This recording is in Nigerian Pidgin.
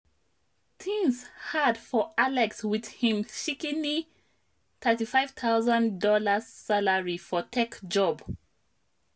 things hard for alex with him shikini $35000 salary for tech job.